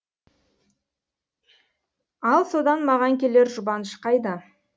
ал содан маған келер жұбаныш қайда